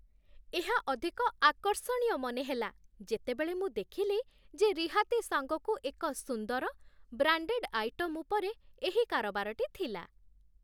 ଏହା ଅଧିକ ଆକର୍ଷଣୀୟ ମନେହେଲା, ଯେତେବେଳେ ମୁଁ ଦେଖିଲି ଯେ ରିହାତି ସାଙ୍ଗକୁ ଏକ ସୁନ୍ଦର, ବ୍ରାଣ୍ଡେଡ୍ ଆଇଟମ୍ ଉପରେ ଏହି କାରବାରଟି ଥିଲା।